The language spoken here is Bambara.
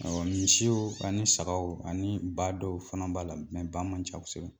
Awɔ misiw ani sagaw ani ba dɔw fana b'a la ba man ca kosɛbɛ.